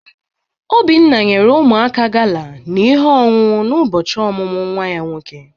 Obiora nyere ụmụaka gala na ihe onunu na ụbọchị ọmụmụ nwa ya nwoke.